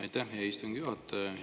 Aitäh, hea istungi juhataja!